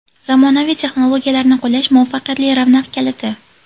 Zamonaviy texnologiyalarni qo‘llash – muvaffaqiyatli ravnaq kaliti.